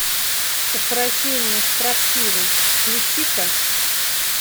укрощение строптивой включи ка